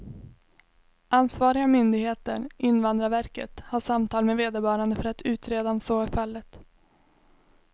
Ansvariga myndigheter, invandrarverket, har samtal med vederbörande för att utreda om så är fallet.